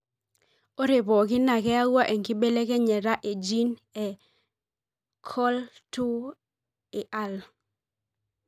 ore pooki na keyawua enkibelekenyata e gene e COL2AI.